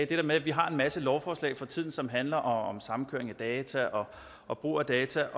det her med at vi har en masse lovforslag for tiden som handler om samkøring af data og brug af data